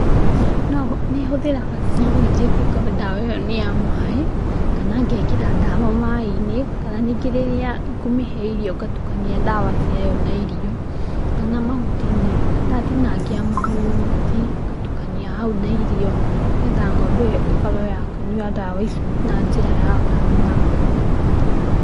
Nĩhũthĩraga syringe ĩngĩkorwo ndawa ĩyo nĩ ya maĩ, kana ngekĩra ndawa maĩ-inĩ, kana ningĩ rĩrĩa ngũmĩhe irio ngatukania ndawa ci ayo na irio, kana mahuti-inĩ. Ndatinangia mahuti, ngatukania hau na irio, nĩgetha ngombe ĩyo ĩkorwo ya kũnyua ndawa icio na njĩra ya kanua.